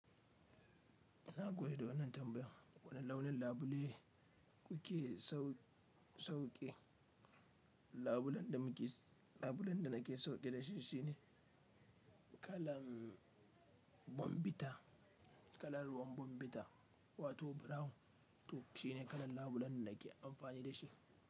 Ina goyo da wannan tambayan. Wani launin labule kuke sauƙe? Labulen da nake son irin shi shine kalan bambita, kala ruwan bambita wato brown to shine kalan labulen da nake amfani da shi.